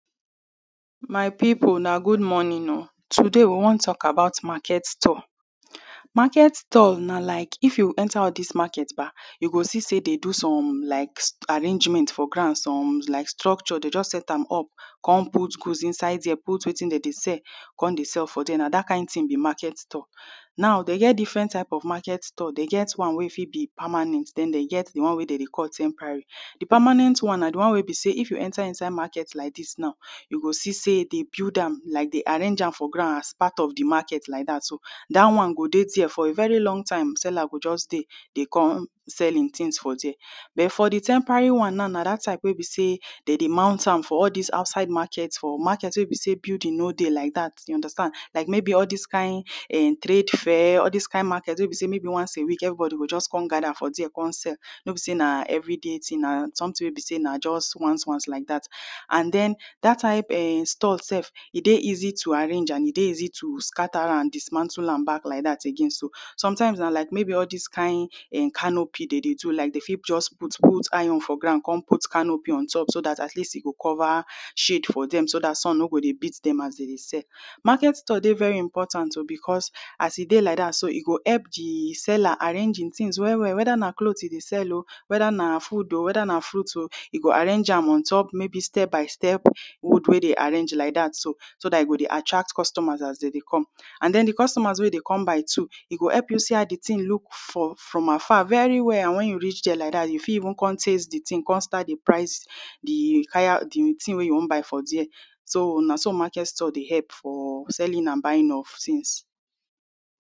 my people una good morning o today we wan talk about market store market store nah like if you enter all this market bah you go see say they do some like arrangement for ground some is like structure they just set am up come put goods inside there put wetin them dey sell come dey sell for there nah that kind thing be market store now they get different type of market store dey get the one wey fit be permanent then they get the one wey them dey call temporally the permanent one nah the one wey be say if you enter inside market like this now you go see say they build am like they arrange am for ground as part of the building that one go dey there for a very long time sellers go just dey dey come sell in thing for there but for the temporary one now nah that type wey be say them dey mount am for all these outside market for market wey be say building no de like that you understand like maybe all this kind eh trade fair all these kind market wey be say maybe once a week everybody go just come gather for there come sell no be say na everyday thing nah something wey be say nah just once once like that and then that type eh store sef e dey easy to arrange and e dey easy to scatter and dismantle am back like that again so sometimes nah like maybe all this kind eh canopy them dey do like dem fit just put good iron for ground come put canopy on top so that at least e go cover shade for them so that sun no go dey beat them them as them dey sell market store dey very important o because as e dey like that so e go help the seller arrange in things well well whether nah cloth e dey sell o whether nah food o or whether nah fruit e go arrange am on top maybe step by step wood wey dem arrange like that so so that e go dey attract customers as them dey come and the customers wey the come by too e go help you see how the thing look for from afar very well and you reach there like that you fit even come test the thing come start dey price the kind the thing wey you wan buy for there so nah so market store dey help for selling and buying of things